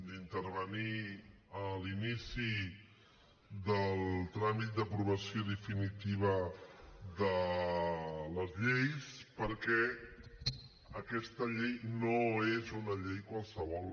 d’intervenir a l’inici del tràmit d’aprovació definitiva de les lleis perquè aquesta llei no és una llei qualsevol